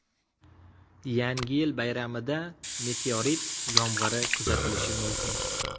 Yangi yil bayramida meteorit yomg‘iri kuzatilishi mumkin.